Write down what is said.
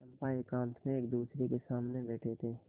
चंपा एकांत में एकदूसरे के सामने बैठे थे